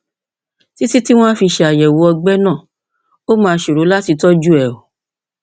títí tí wọn á fi ṣàyẹwò ọgbẹ náà ó máa ṣòro láti tọjú rẹ